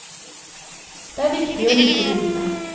Det er viktig å like bildene.